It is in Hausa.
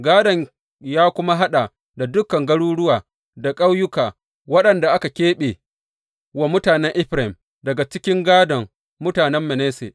Gādon ya kuma haɗa da dukan garuruwa da ƙauyuka waɗanda aka keɓe wa mutanen Efraim daga cikin gādon mutanen Manasse.